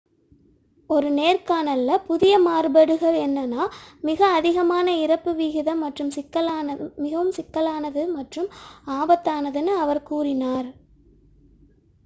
"ஒரு நேர்காணலில் புதிய மாறுபாடு என்னவெனில் "மிக அதிகமான இறப்பு விகிதம் மிகவும் சிக்கலானது மற்றும் ஆபத்தானது" என்று அவர் கூறினார்.